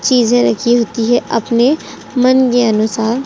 चीजें रखी होती है अपने मन के अनुसार।